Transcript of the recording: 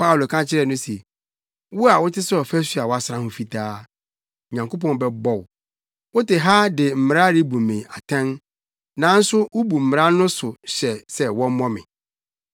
Paulo ka kyerɛɛ no se, “Wo a wote sɛ ɔfasu a wɔasra ho fitaa, Onyankopɔn bɛbɔ wo. Wote ha de mmara rebu me atɛn, nanso wubu mmara no so hyɛ sɛ wɔmmɔ me!”